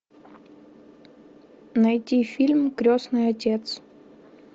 найти фильм крестный отец